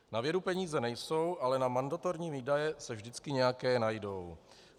Na vědu peníze nejsou, ale na mandatorní výdaje se vždycky nějaké najdou.